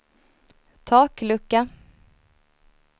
taklucka